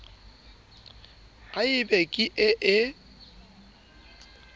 ha e be ke ee